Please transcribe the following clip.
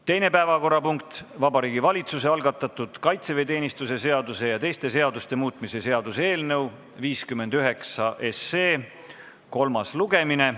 Teine päevakorrapunkt on Vabariigi Valitsuse algatatud kaitseväeteenistuse seaduse ja teiste seaduste muutmise seaduse eelnõu 59 kolmas lugemine.